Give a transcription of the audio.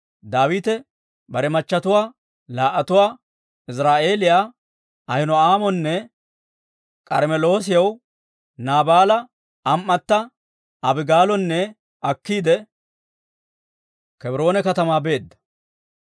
Daawite bare machchetuwaa laa"atuwaa, Iziraa'eeliyaa Ahino'aamonne K'armmeloosiyaa, Naabaala am"atto Abigaalonne akkiide, Kebroone katamaa beedda.